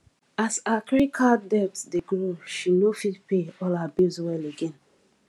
as her credit card debt dey grow she no fit pay all her bills well again